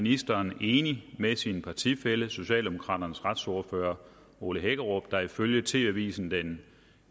ministeren enig med sin partifælle socialdemokraternes retsordfører ole hækkerup der ifølge tv avisen den